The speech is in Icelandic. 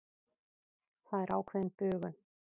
Það er ákveðin bugun.